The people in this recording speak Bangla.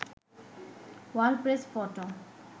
world press photo